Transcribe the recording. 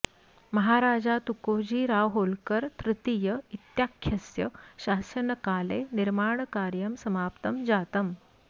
महाराजा तुकोजी राव होलकर तृतीय इत्याख्यस्य शासनकाले निर्माणकार्यं समाप्तं जातम्